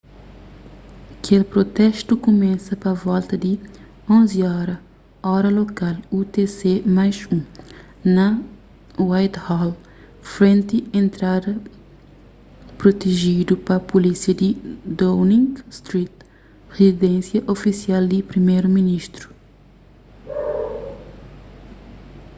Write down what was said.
kel protestu kumesa pa volta di 11:00 óra lokal utc+1 na whitehall frenti entrada protejidu pa pulísia di downing street rizidénsia ofisial di priméru ministru